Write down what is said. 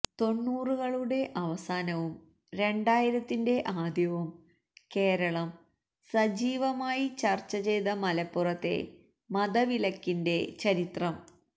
തൊണ്ണൂകളുടെ അവസാനവും രണ്ടായിരത്തിന്റെ ആദ്യവും കേരളം സജീവമായി ചർച്ച ചെയ്ത മലപ്പുറത്തെ മതവിലക്കിന്റെ ചരിത്രം